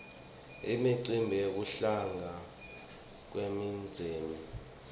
imicimbi yekuhlangana kwemindzeni